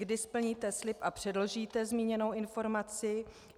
Kdy splníte slib a předložíte zmíněnou informaci?